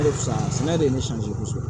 Hali sisan sɛnɛ de ye ne sɔn kosɛbɛ